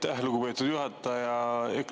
Aitäh, lugupeetud juhataja!